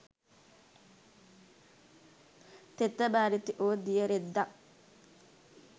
තෙත බරිත වූ දිය රෙද්දක්ද